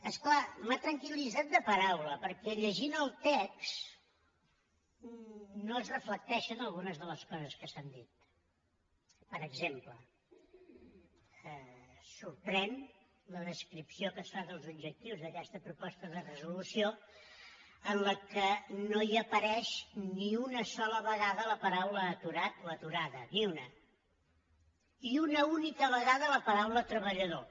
és clar m’ha tranquil·litzat de paraula perquè llegint el text no es reflecteixen algunes de les coses que s’han dit per exemple sorprèn la descripció que es fa dels objectius d’aquesta proposta de resolució en què no hi apareix ni una sola vegada la paraula aturat o aturada ni una i una única vegada la paraula treballador